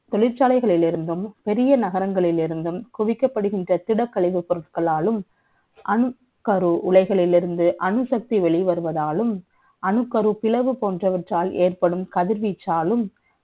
தொழிற்சாலைகளில் இருந்தும் பெரிய நகரங்களில் இருந்தும் குவிக்கப்படுகின்ற திடக்கழிவு பொருட்களாலும் அணுக்கரு உலைகளிலிருந்து அணுசக்தி வெளி வருவதாலும் அணுக்கரு பிளவு போன்றவற்றால் ஏற்படும் கதிர்வீச்சாலும்